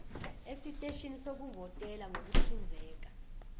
eziteshini zokuvotela ngokuhlinzeka